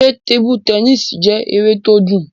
Ṣé tebu tẹnísì jẹ́ eré tó dùn?